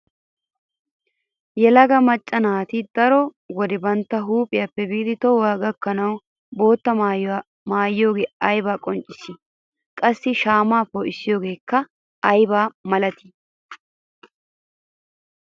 Yelaga macca naati daro wode bantta huuphiyappe biidi tohuwa gakkanawu bootta maayuwa maayiyogee ay qonccissii? Qaasi shaamaa poo'issiyogeekka aybaa malaatii?